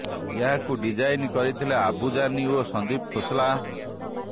ଏହାକୁ ଡିଜାଇନ୍ କରିଥିଲେ ଆବୁ ଜାନି ଓ ସନ୍ଦୀପ ଖୋସଲା